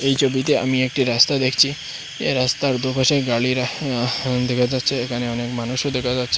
এই চবিতে আমি একটি রাস্তা দেখচি এ রাস্তার দুপাশে গালিরা দেখা যাচ্চে এখানে অনেক মানুষও দেকা যাচ্চে ।